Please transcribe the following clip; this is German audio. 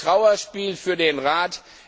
Ein Trauerspiel für den Rat.